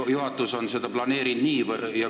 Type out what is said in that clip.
Kas juhatus on seda nii planeerinud?